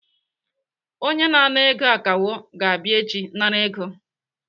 Onye na-ana ego akawo ga-abịa echi nara ego.